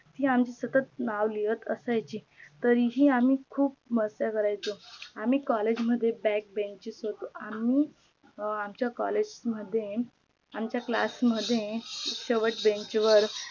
ती आमची सतात नव लिहत असायची तरीही आम्ही खूप मस्ती करायचो आम्ही COLLAGE मध्ये BACK BENCHER होतो. आम्ही आमच्या COLLAGE मध्ये आमच्या CLASS मध्ये शेवटच्या BENCH वर